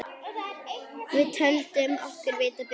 Við töldum okkur vita betur.